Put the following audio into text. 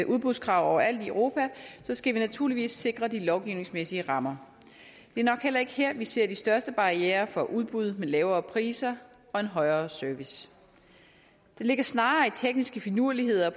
udbudskrav overalt i europa skal vi naturligvis sikre de lovgivningsmæssige rammer det er nok heller ikke her vi ser de største barrierer for udbud med lavere priser og en højere service det ligger snarere i tekniske finurligheder